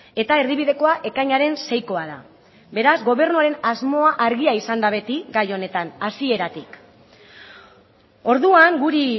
eta erdibidekoa ekainaren seikoa da beraz gobernuaren asmoa argia izan da beti gai honetan hasieratik orduan guri